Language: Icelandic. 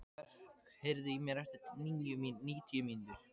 Mörk, heyrðu í mér eftir níutíu mínútur.